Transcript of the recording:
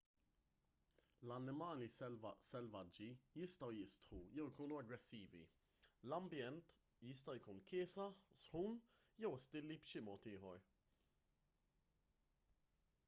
l-annimali selvaġġi jistgħu jistħu jew ikunu aggressivi l-ambjent jista' jkun kiesaħ sħun jew ostili b'xi mod ieħor